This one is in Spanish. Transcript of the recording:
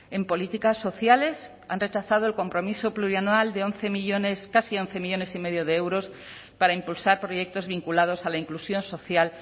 en políticas sociales han rechazado el compromiso plurianual de once millónes casi once millónes y medio de euros para impulsar proyectos vinculados a la inclusión social